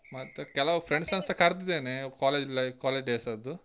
ಮತ್ತೆ ಕೆಲವ್ friends ನಸ ಮತ್ತೆ ಕರ್ದಿದೆನೆ college life college days ಅದ್ದು.